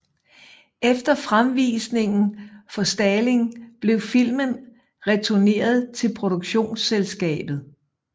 Efter fremvisningen for Stalin blev filmen returneret til produktionsselskabet